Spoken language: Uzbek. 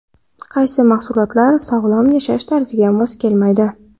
Qaysi mahsulotlar sog‘lom yashash tarziga mos kelmaydi?.